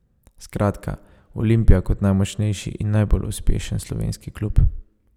Skratka, Olimpija kot najmočnejši in najbolj uspešen slovenski klub.